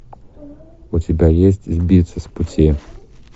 у тебя есть сбиться с пути